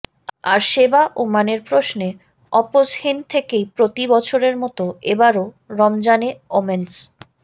আর সেবা ও মানের প্রশ্নে আপোসহীন থেকেই প্রতি বছরের মতোএবারও রমজানে ওমেন্স